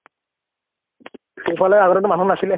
সেইফালে আগতেটো মানুহ নাছিলে